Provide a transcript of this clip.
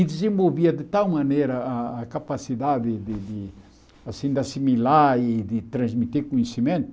E desenvolvia de tal maneira a a capacidade de de assim de assimilar e de transmitir conhecimento,